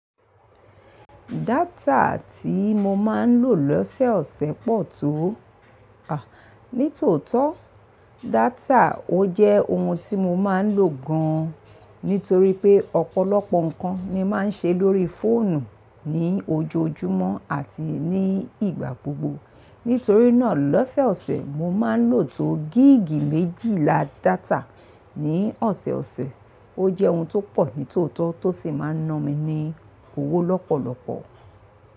Data tí mo máa ń lò lọ́sẹ̀ ọ̀sẹ̀ pọ̀ tó. À, nítòótọ́, data ó jẹ́ ohun tí mo máa ń lò gan, nítorí pé ọ̀pọ̀lọpọ̀ nǹkan ni máa ń ṣe lórí fóònù ní ojoojúmọ́ àti ní ìgbà gbogbo. Nítorí náà lọ́sẹ̀ ọ̀sẹ̀ mo máa ń lò tó gíìgì méjìlá data ní ọ̀sẹ̀ ọ̀sẹ̀. Ó jẹ́ ohun tó pọ̀ nítòótó tó sì máa ń ná mi ní owó lọ́pọ̀lọpọ̀.